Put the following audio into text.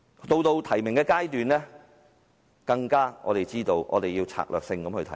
到了提名階段，我們更明白必須策略性地提名。